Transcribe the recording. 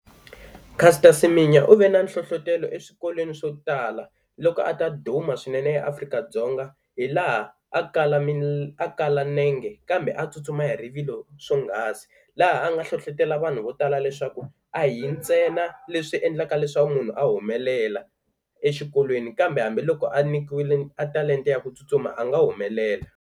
Caster Semenya u ve na nhlohlotelo eswikolweni swo tala loko a ta duma swinene eAfrika-Dzonga hilaha a kala a kala nenge kambe a tsutsuma hi rivilo swonghasi. Laha a nga hlohlotelo vanhu vo tala leswaku a hi ntsena leswi endlaka leswaku munhu a humelela exikolweni kambe hambiloko a nyikiwile a talenta ya ku tsutsuma a nga humelela.